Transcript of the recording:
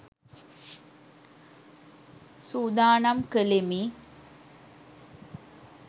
සූදානම් කළෙමි.